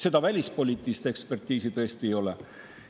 Seda välispoliitilist ekspertiisi tõesti ei ole.